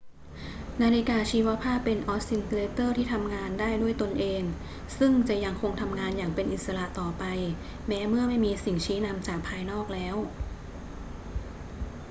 นาฬิกาชีวภาพเป็นออสซิลเลเตอร์ที่ทำงานได้ด้วยตนเอง ซึ่งจะยังคงทำงานอย่างเป็นอิสระต่อไปแม้เมื่อไม่มีสิ่งชี้นำจากภายนอกแล้ว